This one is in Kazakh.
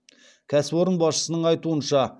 кәсіпорын басшысының айтуынша